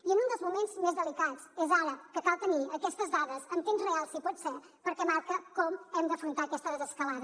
i en un dels moments més delicats és ara que cal tenir aquestes dades en temps real si pot ser perquè marca com hem d’afrontar aquesta desescalada